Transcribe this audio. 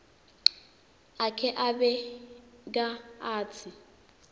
akhe abeka atsi